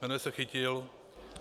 Jmenuje se Chytil.